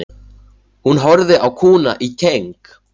Hún horfði á kúna í keng.